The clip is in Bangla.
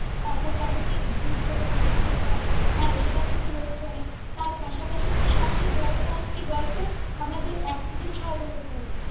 এখন প্রাকৃতিক দুর্যোগ বা বিপর্যয় টা হয় সেটা কিন্তু রোধ করে তার পাশাপাশি কিন্তু সবচেয়ে বড় কাজ কি বলতো আমাদের অক্সিজেন সরবরাহ করে।